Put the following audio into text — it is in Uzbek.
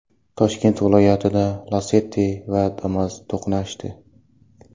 Toshkent viloyatida Lacetti va Damas to‘qnashdi.